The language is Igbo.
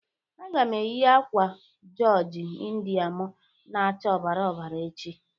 Aga m eyi akwa joji Indịa mụ na-acha ọbara ọbara echi.